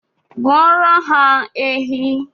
Gbuoro ha ehi